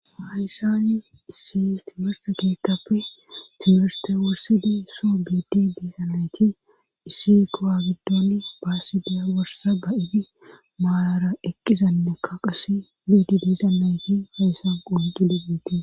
Hayssani issi timerta geetappe timerste worsidi soo biidi diizanayti issi kawa gidoni baasidiya worsa ba7ibi maalara eqqizannekka qase biidi diizanayti heyssan qonqili miete.